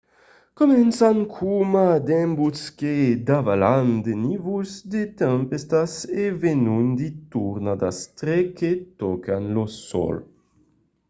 començan coma d'embuts que davalan de nívols de tempèstas e venon de tornadas tre que tòcan lo sòl